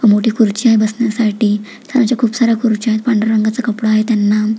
मोठी खुर्ची वर बसण्यासाठी खालच्या साऱ्या खुर्च्या आहेत पांढऱ्या रंगाच कपडा आहे त्यांना.